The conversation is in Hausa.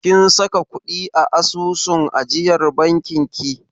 Kin saka ƙuɗi a asusun ajiyar bankin ki?